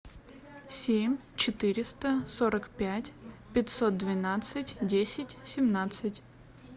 семь четыреста сорок пять пятьсот двенадцать десять семнадцать